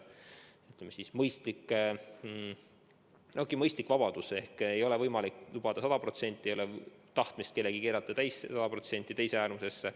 Ei ole võimalik kõike sada potsenti lubada, aga meil ei ole ka tahtmist keerata midagi sada protsenti teise äärmusesse.